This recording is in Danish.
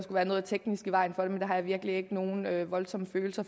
være noget teknisk i vejen for det men det har jeg virkelig ikke nogen voldsomme følelser